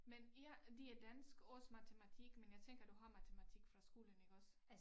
Men ja det er dansk også matematik men jeg tænker du har matematik fra skolen iggås